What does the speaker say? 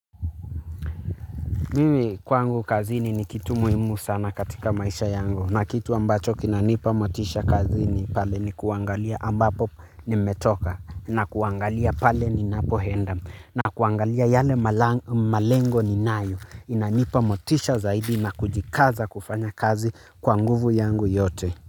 Mimi kwangu kazini ni kitu muhimu sana katika maisha yangu na kitu ambacho kinanipa motisha kazini pale ni kuangalia ambapo nimetoka na kuangalia pale ninapoenda na kuangalia yale malengo ninayo inanipa motisha zaidi na kujikaza kufanya kazi kwa nguvu yangu yote.